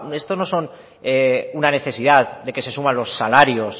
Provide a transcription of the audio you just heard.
esto no son una necesidad de que se suban los salarios